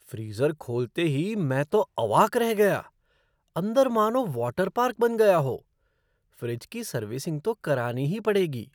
Freezer खोलते ही मैं तो अवाक रह गया। अंदर मानो वाटर पार्क बन गया हो! फ़्रिज की सर्विसिंग तो करानी ही पड़ेगी।